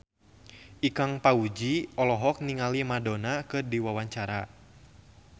Ikang Fawzi olohok ningali Madonna keur diwawancara